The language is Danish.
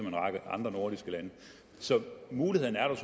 en række andre nordiske lande så muligheden er der